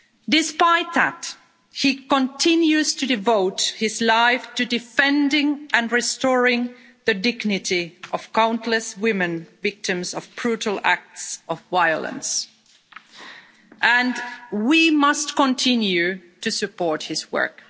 Despite that, he continues to devote his life to defending and restoring the dignity of countless women, the victims of brutal acts of violence, and we must continue to support his work.